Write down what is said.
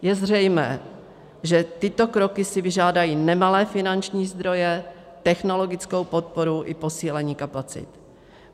Je zřejmé, že tyto kroky si vyžádají nemalé finanční zdroje, technologickou podporu i posílení kapacit.